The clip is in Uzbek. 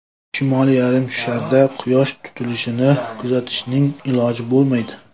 Shimoliy yarimsharda Quyosh tutilishini kuzatishning iloji bo‘lmaydi.